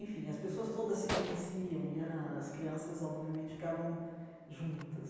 Enfim, as pessoas todas se conheciam e era as crianças, obviamente, ficavam juntas.